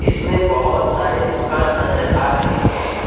उसमें बहुत सारे दुकान नजर आ रहे हैं।